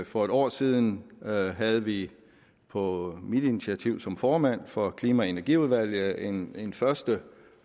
for en år siden havde vi på mit initiativ som formand for klima og energiudvalget en en første